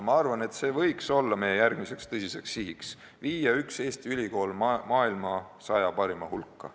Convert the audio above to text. Ma arvan, et see võiks olla meie järgmine tõsine siht: viia üks Eesti ülikool maailma saja parima hulka.